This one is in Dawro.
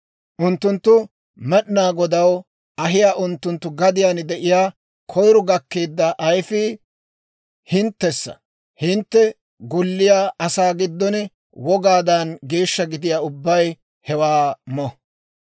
Unttunttu Med'inaa Godaw ahiyaa unttunttu gadiyaan de'iyaa koyiro gakkeedda ayfii hinttessa; hintte golliyaa asaa giddon wogaadan geeshsha gidiyaa ubbay hewaa mo.